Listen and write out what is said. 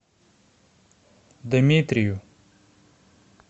дмитрию